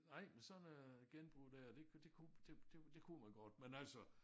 Nej men sådan øh genbrug der det det kunne det det kunne man godt men altså